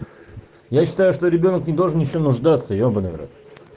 я считаю что ребёнок не должен ничем нуждаться ебанный в рот